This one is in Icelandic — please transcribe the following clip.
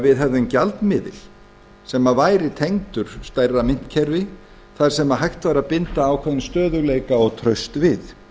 við hefðum gjaldmiðil sem væri tengdur stærra myntkerfi þar sem hægt væri að binda ákveðinn stöðugleika og traust við